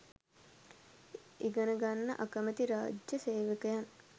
ඉගනගන්න අකමැති රා‍ජ්‍ය සේවකයන්